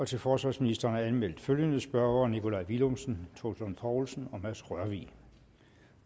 til forsvarsministeren er anmeldt følgende spørgere nikolaj villumsen troels lund poulsen mads rørvig